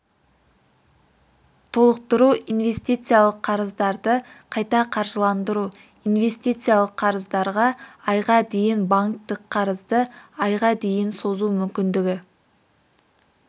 толықтыру инвестициялық қарыздарды қайта қаржыландыру инвестициялық қарыздарға айға дейін банктік қарызды айға дейін созу мүмкіндігі